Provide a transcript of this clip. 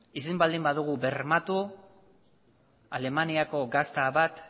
ezin baldin badugu bermatu alemaniako gazta bat